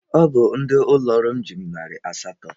Ọ bụ ndị ụlọ ọrụ m ji mụ narị asatọ.